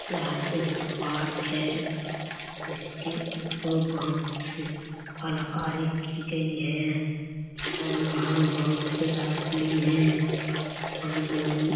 यहाँ एक पार्क है उसके ऊपर बहुत से कलाकारी की गई है और वहाँ बहुत से आदमी हैं और बाउन--